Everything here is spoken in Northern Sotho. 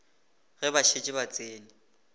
ge ba šetše ba tsene